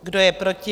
Kdo je proti?